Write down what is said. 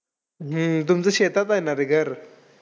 हम्म तुमचं शेतात आहे ना रे घर!